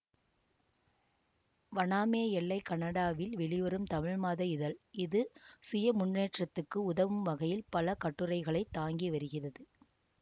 வனாமே எல்லை கனடாவில் வெளிவரும் தமிழ் மாத இதழ் இது சுயமுன்னேற்றத்துக்கு உதவும் வகையில் பல கட்டுரைகளை தாங்கி வருகிறது